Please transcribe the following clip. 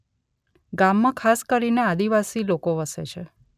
ગામમાં ખાસ કરીને આદિવાસી લોકો વસે છે